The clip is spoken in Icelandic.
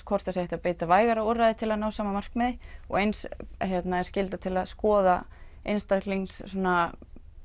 hvort hægt sé að beita vægari úrræðum til að ná sama markmiði og eins er skylda til að skoða einstaklingsbundna